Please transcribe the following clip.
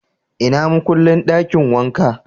Ina makullin dakin wanka?